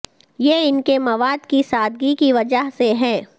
یہ ان کے مواد کی سادگی کی وجہ سے ہے